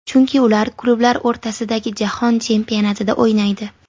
Chunki ular klublar o‘rtasidagi Jahon chempionatida o‘ynaydi.